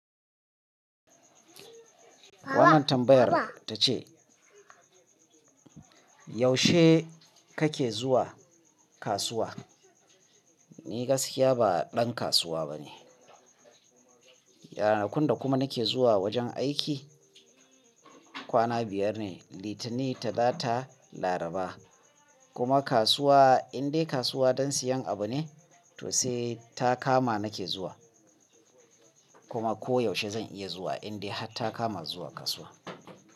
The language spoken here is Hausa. Wannan tambayar ta ce, yaushe kake zuwa kasuwa? Ni gaskiya ba ɗan kasuwa bane. Yanar kundu kuma nake zuwa wajen aiki. Kwana biyar ne, Litinin, Talata, Laraba. Kuma kasuwa, in dai kasuwa don siyan abu ne, to sai takama nake zuwa. Kuma ko yaushe zan iya zuwa in dai har takama zuwa kasuwa.